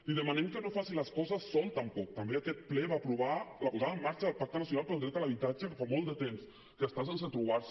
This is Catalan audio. li demanem que no faci les coses sol tampoc també aquest ple va aprovar la posada en marxa del pacte nacional per al dret a l’habitatge que fa molt de temps que està sense trobar se